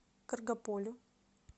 каргополю